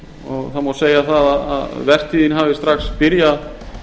og það má segja að vertíðin hafi strax byrjað